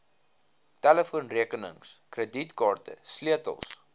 telefoonrekenings kredietkaarte sleutels